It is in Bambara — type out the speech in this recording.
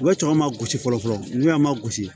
U bɛ cɛman gosi fɔlɔ n'u y'a ma gosi